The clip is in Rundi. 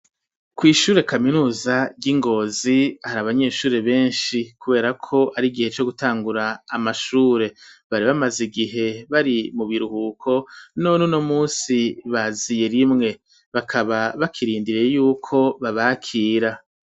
Kw'ishure kaminuza ryi Ngozi hari abanyeshuri beshi kuberako ari igihe co gutangura amashure bari bamaze igihe bari mu biruhuko none uno musi baziye rimwe bakaba bakirindiriye yuko babakira.